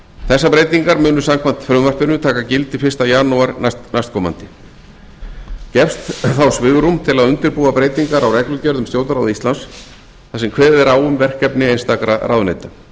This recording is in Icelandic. þessar breytingar munu samkvæmt frumvarpinu taka gildi fyrsta janúar næstkomandi gefst þá svigrúm til að undirbúa breytingar á reglugerð um stjórnarráð íslands þar sem kveðið er á um verkefni einstakra ráðuneyta við